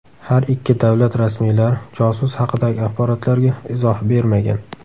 Har ikki davlat rasmiylari josus haqidagi axborotlarga izoh bermagan.